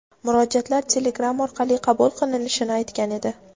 murojaatlar telegram orqali qabul qilinishini aytgan edi.